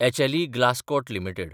HLE Glascoat limited